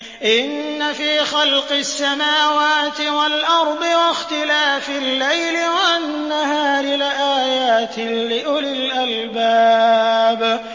إِنَّ فِي خَلْقِ السَّمَاوَاتِ وَالْأَرْضِ وَاخْتِلَافِ اللَّيْلِ وَالنَّهَارِ لَآيَاتٍ لِّأُولِي الْأَلْبَابِ